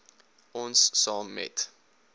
ons saam met